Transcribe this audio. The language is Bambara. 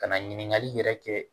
Ka na ɲininkali yɛrɛ kɛ